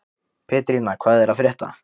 Pétrína, hvað er að frétta?